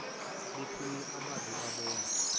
bephuma abaze babona